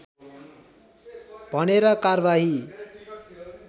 भनेर कारवाही